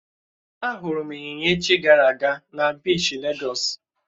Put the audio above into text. Á hụrụ m Ị́nyinya echi gara aga na biishi légọ́s